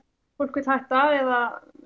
fólk vill hætta eða